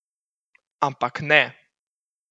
Ampak ne!